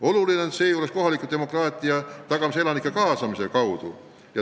Oluline on kohaliku demokraatia tagamine elanike kaasamise kaudu.